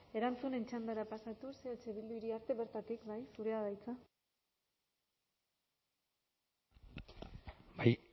erantzunen txandara pasatuz eh bildu iriarte bertatik bai zurea da hitza bai